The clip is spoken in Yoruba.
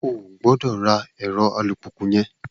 O ò gbọ́dọ̀ ra ẹ̀rọ alùpùpù yẹn!